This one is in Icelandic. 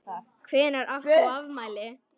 Hvenær átt þú afmæli?